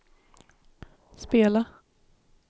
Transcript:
spela